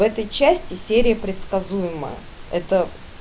в этой части серия предсказуемая это